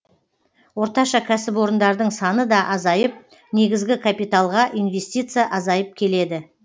орташа кәсіпорындардың саны да азайып негізгі капиталға инвестиция азайып келеді